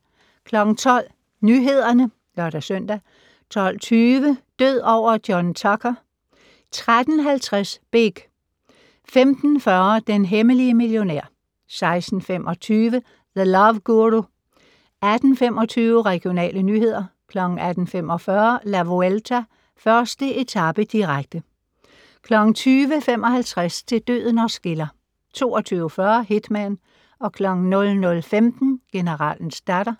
12:00: Nyhederne (lør-søn) 12:20: Død over John Tucker! 13:50: Big 15:40: Den hemmelige millionær 16:25: The Love Guru 18:25: Regionale nyheder 18:45: La Vuelta: 1. etape, direkte 20:55: Til døden os skiller 22:40: Hitman 00:15: Generalens datter